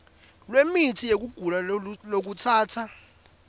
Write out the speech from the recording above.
lwemitsi yekugula lokutsatsa